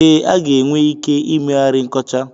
Ee, a ga-enwe ike ị meghari nkọcha.